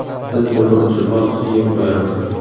Biz nima uchun ortiqcha yeb qo‘yamiz?.